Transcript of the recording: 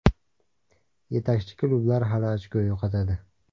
Yetakchi klublar hali ochko yo‘qotadi.